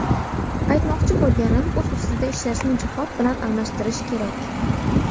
Aytmoqchi bo‘lganim, o‘z-ustida ishlashni jihod bilan almashtirish kerak.